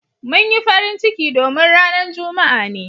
Mun yi farin ciki domin ranan Juma'a ne.